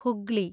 Hooghly